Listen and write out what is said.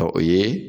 Ɔ o ye